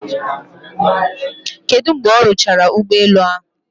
Kedu mgbe ọ rụchara ụgbọ elu ahụ?